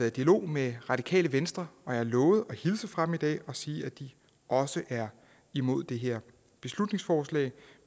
i dialog med radikale venstre og har lovet at hilse fra dem i dag og sige at de også er imod det her beslutningsforslag